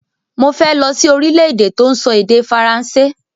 Mo fẹ́ lọ sí orílẹ̀-èdè tọ́n sọ èdè Faransé